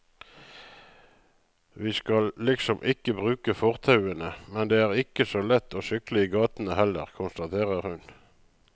Vi skal liksom ikke bruke fortauene, men det er ikke så lett å sykle i gatene heller, konstaterer hun.